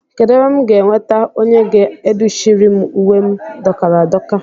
Kedụ ebe m ga-enweta onye ga-adụchiri m uwe m dọkara adọka?